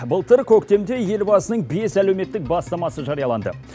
былтыр көктемде елбасының бес әлеуметтік бастамасы жарияланды